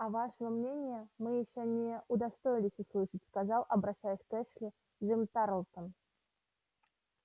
а вашего мнения мы ещё не удостоились услышать сказал обращаясь к эшли джим тарлтон